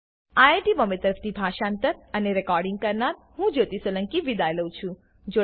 IIT Bombay તરફથી હું જ્યોતી સોલંકી વિદાય લઉં છું